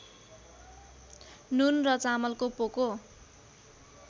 नुन र चामलको पोको